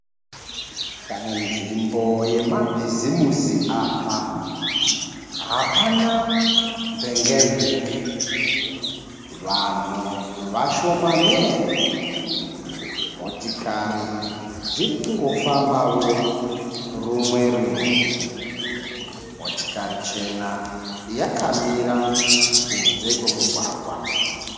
Panzvimbo yemabhizimusi apa. Hapana mvenge mvenge. Vanhu vashomanene. Motikari dzirikungofambawo rumwe rumwe. Motikari chena yakamira kunze kwemugwagwa.